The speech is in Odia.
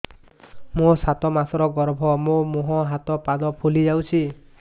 ମୋ ସାତ ମାସର ଗର୍ଭ ମୋ ମୁହଁ ହାତ ପାଦ ଫୁଲି ଯାଉଛି